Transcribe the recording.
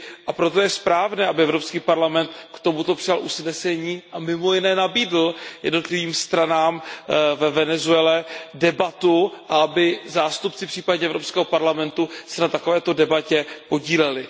A proto je správné, aby Evropský parlament k tomuto přijal usnesení a mimo jiné nabídl jednotlivým stranám ve Venezuele debatu a aby se zástupci Evropského parlamentu případně na takovéto debatě podíleli.